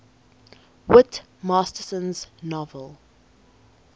whit masterson's novel